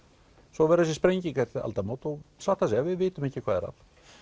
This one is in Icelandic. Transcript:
svo var þessi sprenging eftir aldamót og satt að segja við vitum ekki hvað er að